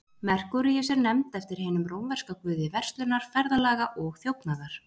Merkúríus er nefnd eftir hinum rómverska guði verslunar, ferðalaga og þjófnaðar.